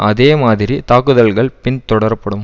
அதே மாதிரி தாக்குதல்கள் பின் தொடரப்படும்